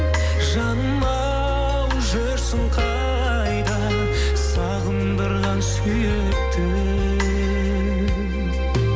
жаным ау жүрсің қайда сағындырған сүйіктім